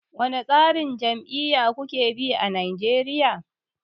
Wane tsarin jam'iyya kuke bi a Nigeria?